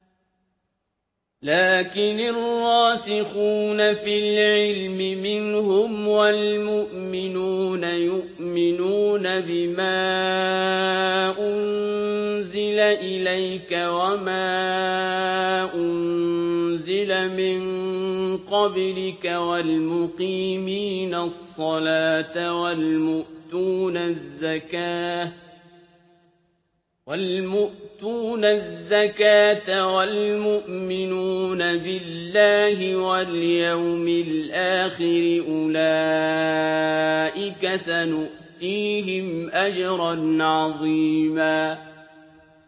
لَّٰكِنِ الرَّاسِخُونَ فِي الْعِلْمِ مِنْهُمْ وَالْمُؤْمِنُونَ يُؤْمِنُونَ بِمَا أُنزِلَ إِلَيْكَ وَمَا أُنزِلَ مِن قَبْلِكَ ۚ وَالْمُقِيمِينَ الصَّلَاةَ ۚ وَالْمُؤْتُونَ الزَّكَاةَ وَالْمُؤْمِنُونَ بِاللَّهِ وَالْيَوْمِ الْآخِرِ أُولَٰئِكَ سَنُؤْتِيهِمْ أَجْرًا عَظِيمًا